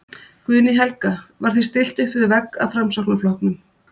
Guðný Helga: Var þér stillt uppvið vegg af Framsóknarflokknum?